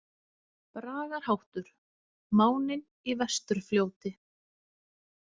Bragarháttur: „Máninn i Vesturfljóti“.